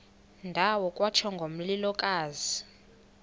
ndawo kwatsho ngomlilokazi